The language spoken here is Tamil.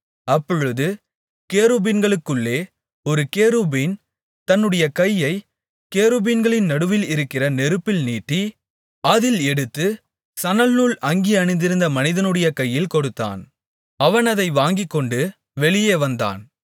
அப்பொழுது கேருபீன்களுக்குள்ளே ஒரு கேருபீன் தன்னுடைய கையைக் கேருபீன்களின் நடுவில் இருக்கிற நெருப்பில் நீட்டி அதில் எடுத்து சணல்நூல் அங்கி அணிந்திருந்த மனிதனுடைய கையில் கொடுத்தான் அவன் அதை வாங்கிக்கொண்டு வெளியே வந்தான்